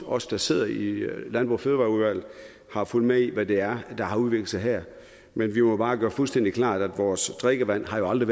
os der sidder i miljø og fødevareudvalget har fulgt med i hvad det er der har udviklet sig her men vi må bare gøre det fuldstændig klart at vores drikkevand aldrig